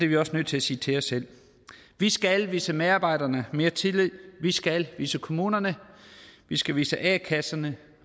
vi også nødt til at sige til os selv vi skal vise medarbejderne mere tillid vi skal vise kommunerne vi skal vise a kasserne